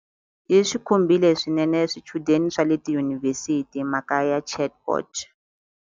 Yi swi khumbile swinene swichudeni swa le tiyunivhesiti mhaka ya chatbot.